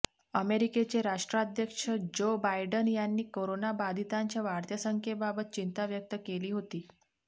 अमेरिकेचे राष्ट्राध्यक्ष Joe Biden यांनी करोनाबाधितांच्या वाढत्या संख्येबाबत चिंता व्यक्त केली होती